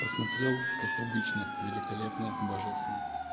посмотрел как обычно великолепно божественно